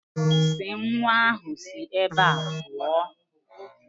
Si nwa ahụ si ebe ahụ pụọ.